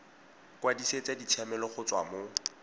kwadisetsa ditshiamelo go tswa mo